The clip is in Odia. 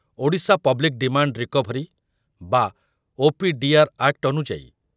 ଓଡ଼ିଶା ପବ୍ଲିକ ଡିମାଣ୍ଡ ରିକଭରି ବା ଓ.ପି.ଡି.ଆର୍. ଆକ୍ଟ ଅନୁଯାଇ